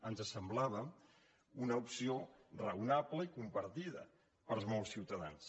ens semblava una opció raonable i compartida per molts ciutadans